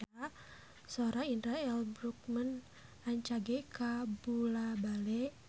Sora Indra L. Bruggman rancage kabula-bale